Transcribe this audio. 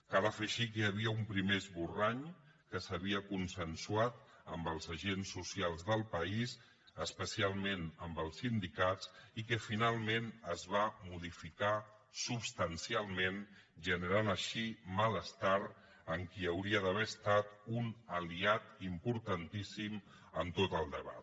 cal afegir que hi havia un primer esborrany que s’havia consensuat amb els agents socials del país especialment amb els sindicats i que finalment es va modificar substancialment i es va generar així malestar en qui hauria d’haver estat un aliat importantíssim en tot el debat